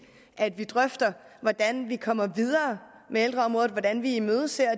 at vi drøfter hvordan vi kommer videre med ældreområdet hvordan vi imødeser